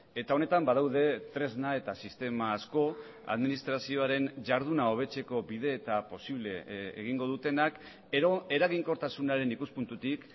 eta honetan badaude tresna eta sistema asko administrazioaren jarduna hobetzeko bide eta posible egingo dutenak edo eraginkortasunaren ikuspuntutik